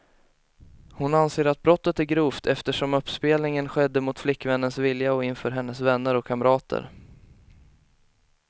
Hon anser att brottet är grovt, eftersom uppspelningen skedde mot flickvännens vilja och inför hennes vänner och kamrater.